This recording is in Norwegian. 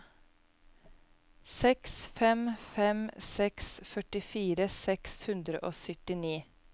seks fem fem seks førtifire seks hundre og syttini